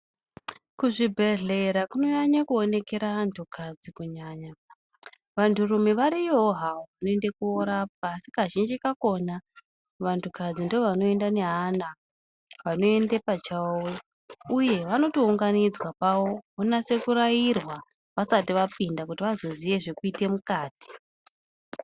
Kuzvibhehlera kunonyanye kuonekera antukadzi kunyanya. Vanturume variyowon havo vanoende korapwa asi Kazhinji kakhona vantukadzi ndivo vanoenda neana. Vanoende pachavo uye vano tounganidzwa pavo vonase kurairwa vasati vapinda kuti vazoziya zvekuite mukati.